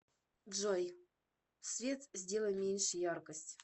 джой свет сделай меньше яркость